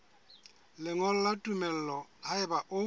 lengolo la tumello haeba o